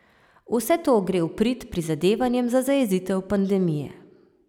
Vse to gre v prid prizadevanjem za zajezitev pandemije.